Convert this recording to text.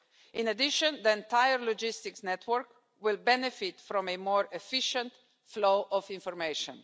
In addition, the entire logistics network will benefit from a more efficient flow of information.